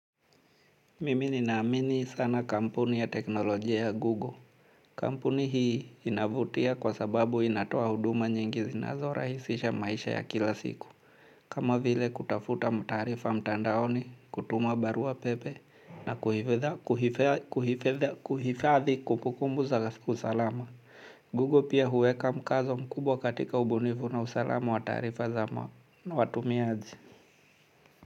Mimi ninaamini sana kampuni ya teknolojia ya google. Kampuni hii inavutia kwa sababu inatoa huduma nyingi zinazo rahisisha maisha ya kila siku. Kama vile kutafuta mtarifa mtandaoni, kutuma barua pepe, na kuhifadhi kumbukumbu za usalama. Google pia huweka mkazo mkubwa katika ubunifu na usalama wa taarifa za watumiaji.